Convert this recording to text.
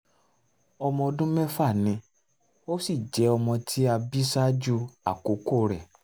ọmọ um ọdún mẹ́fà ni ó sì jẹ́ ọmọ tí a bí ṣáájú àkókò rẹ